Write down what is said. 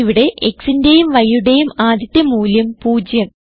ഇവിടെ xന്റേയും yയുടേയും ആദ്യത്തെ മൂല്യം 0